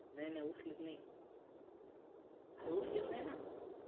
नाही नाही उचलित नाही अरे उचलित नाही ना